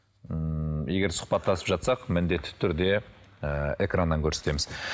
ммм егер сұхбаттасып жатсақ міндетті түрде ііі экраннан көрсетеміз